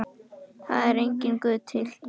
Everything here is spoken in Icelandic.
Það er enginn Guð til.